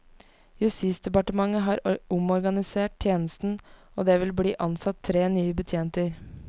Justisdepartementet har omorganisert tjenesten og det vil bli ansatt tre nye betjenter.